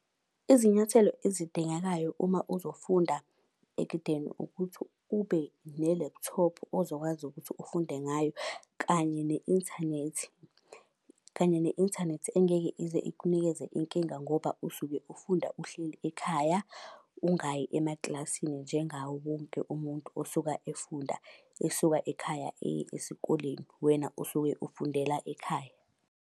Izinyathelo ezidingekayo uma uzofunda ekudeni ukuthi ube ne-laptop ozokwazi ukuthi ufunde ngayo, kanye ne-inthanethi. Kanye ne-inthanethi engeke ize ikunikeze inkinga ngoba usuke ufunda uhleli ekhaya, ungayi emakilasini njengawo wonke umuntu osuka efunda esuka ekhaya eye esikoleni. Wena usuke ufundela ekhaya.